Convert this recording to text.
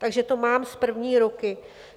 Takže to mám z první ruky.